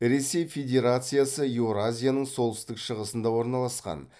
ресей федерациясы еуразияның солтүстік шығысында орналасқан